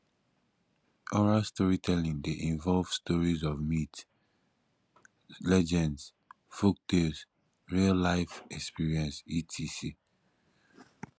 oral storytelling de involve stories of myths legends folktakes real life experience etc